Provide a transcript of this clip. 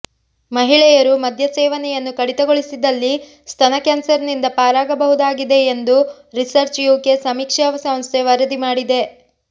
ಮಹಿಳೆಯರು ಮದ್ಯ ಸೇವನೆಯನ್ನು ಕಡಿತಗೊಳಿಸಿದಲ್ಲಿ ಸ್ತನ ಕ್ಯಾನ್ಸರ್ನಿಂದ ಪಾರಾಗಬಹುದಾಗಿದೆ ಎಂದು ರಿಸರ್ಚ್ ಯುಕೆ ಸಮೀಕ್ಷಾ ಸಂಸ್ಥೆ ವರದಿ ಮಾಡಿದೆ